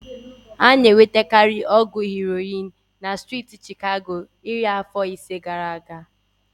Ọgwụ ike heroin bụ ana-enwetakarị na striiti Chicago iri afọ ise gaara aga.